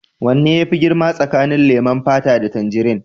Wane ne yafi girma tsakanin leman fata da tangirin?